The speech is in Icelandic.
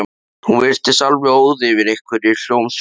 Hún virtist alveg óð yfir einhverri hljómsveit.